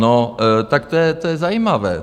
No tak to je zajímavé.